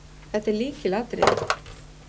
Þetta er lykilatriði